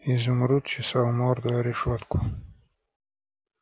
изумруд чесал морду о решётку